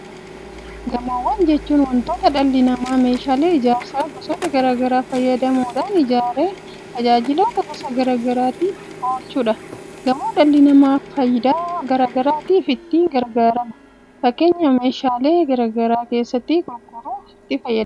Gamoowwan jechuun wantoota dhalli namaa meeshaalee ijaarsaa gosoota garaa garaa fayyadamuudhaan ijaaree tajaajiloota gosoota garaa garaatiif oolchuudha. Gamoo dhalli namaa faayidaa garaa garaatiif itti gargaarama. Fakeenyaaf meeshaalee garaa garaa keessatti gurguruuf itti fayyadama.